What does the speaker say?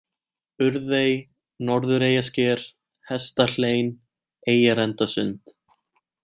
Urðey, Norðureyjasker, Hestahlein, Eyjarendasund